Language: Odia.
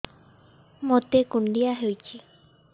ମୋତେ କୁଣ୍ଡିଆ ହେଇଚି